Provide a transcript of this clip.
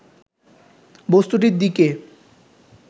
বস্তুটির দিকে